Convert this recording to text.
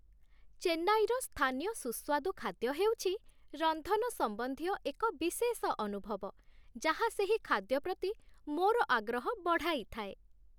ଚେନ୍ନାଇର ସ୍ଥାନୀୟ ସୁସ୍ୱାଦୁ ଖାଦ୍ୟ ହେଉଛି ରନ୍ଧନ ସମ୍ବନ୍ଧୀୟ ଏକ ବିଶେଷ ଅନୁଭବ, ଯାହା ସେହି ଖାଦ୍ୟ ପ୍ରତି ମୋର ଆଗ୍ରହ ବଢ଼ାଇଥାଏ।